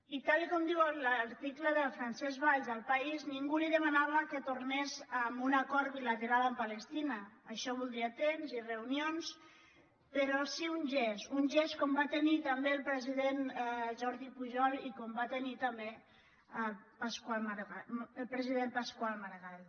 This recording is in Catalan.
i tal com diu l’article de francesc valls a el país ningú li demanava que tornés amb un acord bilateral amb palestina això voldria temps i reunions però sí amb un gest un gest com va tenir el president jordi pujol i com va tenir també el president pasqual maragall